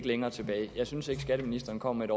længere tilbage jeg synes ikke at skatteministeren kom med